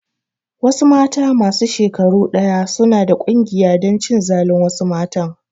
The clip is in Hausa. Wasu mata masu shekaru ɗaya suna da ƙungiya dan cin zalin wasu matan